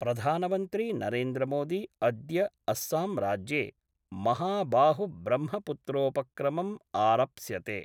प्रधानमन्त्री नरेन्द्र मोदी अद्य अस्साम् राज्ये महाबाहुब्रह्मपुत्रोपक्रमं आरप्स्यते।